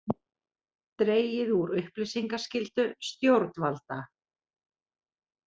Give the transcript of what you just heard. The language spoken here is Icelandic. Dregið úr upplýsingaskyldu stjórnvalda